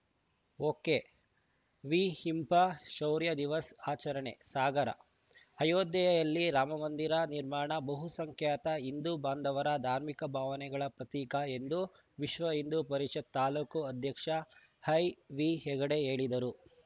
ಒಕೆವಿಹಿಂಪ ಶೌರ್ಯ ದಿವಸ್‌ ಆಚರಣೆ ಸಾಗರ ಅಯೋಧ್ಯೆಯಲ್ಲಿ ರಾಮಮಂದಿರ ನಿರ್ಮಾಣ ಬಹುಸಂಖ್ಯಾತ ಹಿಂದೂ ಬಾಂಧವರ ಧಾರ್ಮಿಕ ಭಾವನೆಗಳ ಪ್ರತೀಕ ಎಂದು ವಿಶ್ವಹಿಂದೂ ಪರಿಷತ್‌ ತಾಲೂಕು ಅಧ್ಯಕ್ಷ ಐವಿಹೆಗಡೆ ಹೇಳಿದರು